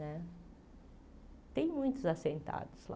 Né tem muitos assentados lá.